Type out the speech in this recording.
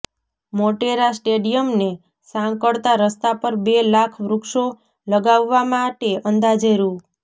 મોટેરા સ્ટેડીયમને સાંકળતા રસ્તા પર બે લાખ વૃક્ષો લગાવવા માટે અંદાજે રૂ